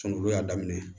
Sunuŋu y'a daminɛ